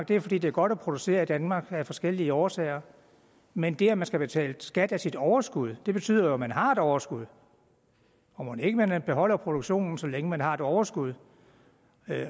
det fordi det er godt at producere i danmark af forskellige årsager men det at man skal betale skat af sit overskud betyder jo at man har et overskud og mon ikke man beholder produktionen så længe man har et overskud